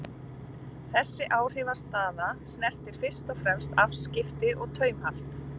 Þessi áhrifastaða snertir fyrst og fremst afskipti og taumhald.